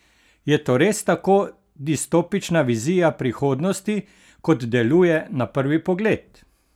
Je to res tako distopična vizija prihodnosti, kot deluje na prvi pogled?